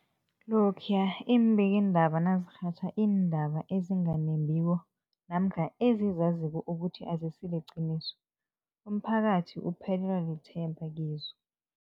Lokhuya iimbikiindaba nazirhatjha iindaba ezinga nembiko namkha ezizaziko ukuthi azisiliqiniso, umphakathi uphelelwa lithemba kizo.